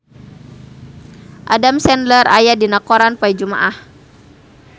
Adam Sandler aya dina koran poe Jumaah